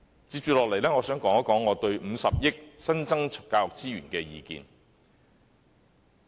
接下來，我想談談我對50億元新增教育資源的意見。